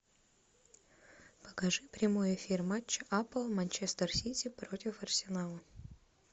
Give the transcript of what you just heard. покажи прямой эфир матча апл манчестер сити против арсенала